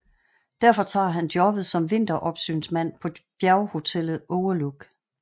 Derfor tager han jobbet som vinteropsynsmand på bjerghotellet Overlook